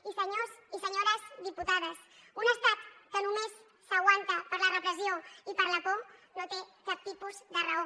i senyors i senyores diputades un estat que només s’aguanta per la repressió i per la por no té cap tipus de raó